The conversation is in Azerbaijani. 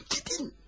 Gidin, gidin!